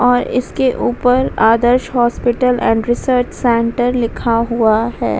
और इसके ऊपर Adarsh hospital and research centre लिखा हुआ है।